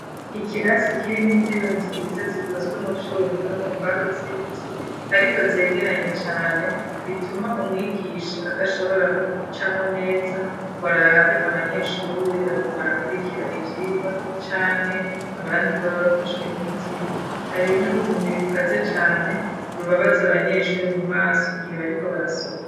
Ikirasi kirimwo intebe nziza zikozwe mu vyuma no mu mbaho z'ibiti ariko zegeranye cane bituma umwigisha adashobora gucamo neza ngo arabe abanyeshuri bariko barakurikira ivyirwa canke abandi boba bafashwe n'itiro hari n'urumuri rukaze cane rubabaza abanyeshuri mu maso igihe bariko barasoma.